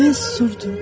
Mən susurdum.